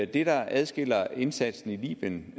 der adskiller indsatsen i libyen